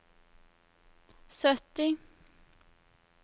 sytti